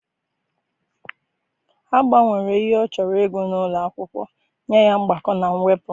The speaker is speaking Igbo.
Ha gbanwere ihe ọ chọrọ ịgụ n'ụlọ akwụkwọ nye ya mgbakọ na mwepụ.